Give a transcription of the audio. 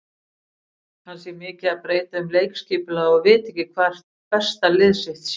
Hann sé mikið að breyta um leikskipulag og viti ekki hvert besta lið sitt sé.